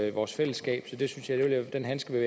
i vores fællesskab så den handske vil